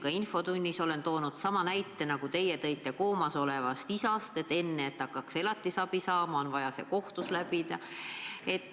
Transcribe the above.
Ka infotunnis olen toonud sama näite mis teiegi koomas olevast isast: enne elatisabi saamist on vaja kohtus käia.